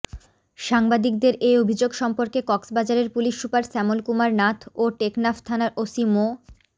সাংবাদিকদের এ অভিযোগ সম্পর্কে কক্সবাজারের পুলিশ সুপার শ্যামল কুমার নাথ ও টেকনাফ থানার ওসি মো